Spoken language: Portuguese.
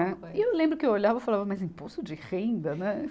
Né. E eu lembro que eu olhava e falava, mas imposto de renda, né?